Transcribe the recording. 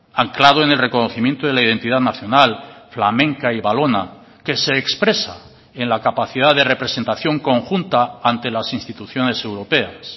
anclado en el reconocimiento de la identidad nacional flamenca y valona que se expresa en la capacidad de representación conjunta ante las instituciones europeas